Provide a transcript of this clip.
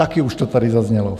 Také už to tady zaznělo.